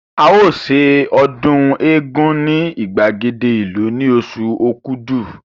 A o se ọdún égún ní ìgbàgede ìlú ní oṣù Okúdù